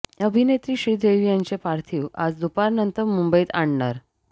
अभिनेत्री श्रीदेवी यांचे पार्थिव आज दुपारनंतर मुंबईत आणणार